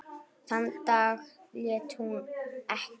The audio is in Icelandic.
Þann dag leit hún ekki.